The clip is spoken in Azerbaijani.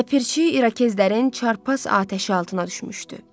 Ləpirçi İrokezlərin çarpaz atəşi altına düşmüşdü.